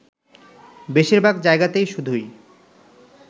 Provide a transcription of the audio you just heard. বেশীরভাগ জায়গাতেই শুধুই